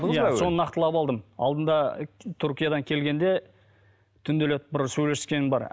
иә соны нақтылап алдым алдында түркиядан келгенде түнделетіп бір сөйлескенім бар